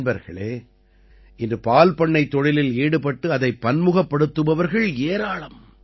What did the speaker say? நண்பர்களே இன்று பால்பண்ணைத் தொழிலில் ஈடுபட்டு அதைப் பன்முகப்படுத்துபவர்கள் ஏராளம்